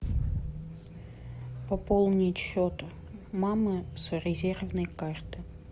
пополнить счет мамы с резервной карты